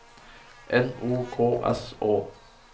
N O K S Å